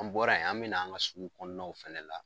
An bɔra yen an mina an ga sugukɔnɔw fɛnɛ na